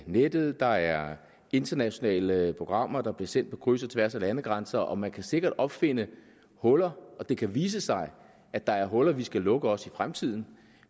nettet der er internationale programmer der bliver sendt på kryds og tværs af landegrænser og man kan sikkert opfinde huller og det kan vise sig at der er huller vi skal lukke også i fremtiden